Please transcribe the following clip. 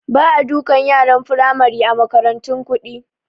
Ba a dukan yaran Firamari a makarantun kuɗi